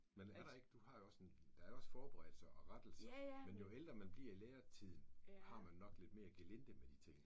Men er der ikke du har jo også der er jo også forberedelse og rettelser og men jo ældre man bliver i lærertiden har man nok lidt mere gelinde med de ting